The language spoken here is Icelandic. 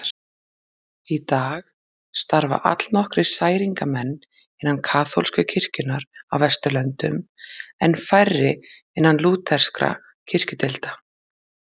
Í dag starfa allnokkrir særingamenn innan kaþólsku kirkjunnar á Vesturlöndum en færri innan lúterskra kirkjudeilda.